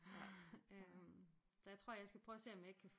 Så jeg tror jeg skal prøve at se om jeg ikke kan